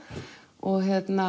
og